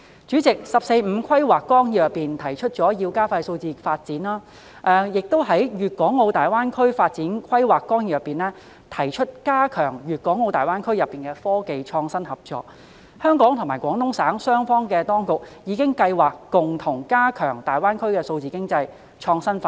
主席，《十四五規劃綱要》提出要加快數字化發展，而《粤港澳大灣區發展規劃綱要》亦提出加強粤港澳大灣區內的科技創新合作，香港與廣東省當局已計劃共同加強大灣區的數字經濟創新發展。